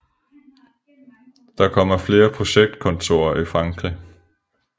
Dertil kommer flere projektkontorer i Frankrig